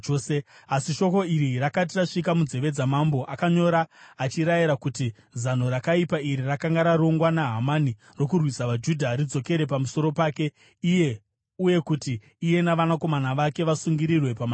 Asi shoko iri rakati rasvika munzeve dzamambo, akanyora achirayira kuti zano rakaipa iri rakanga rarongwa naHamani rokurwisa vaJudha ridzokere pamusoro pake iye uye kuti iye navanakomana vake vasungirirwe pamatanda.